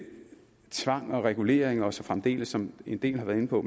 tvang og regulering og så fremdeles som en del har været inde på